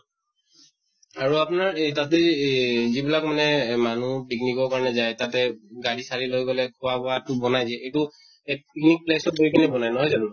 আৰু আপুনাৰ এই তাতে এহ যিবিলাক মানে মানুহ picnic ৰ কাৰণে যায় তাতে গাড়ী চাড়ী লৈ গলে খোৱা বোৱাতো বনায় যে এইটো এত picnic place ত গৈ কিনে বনায় নহয় জানো?